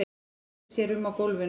Veltir sér um á gólfinu.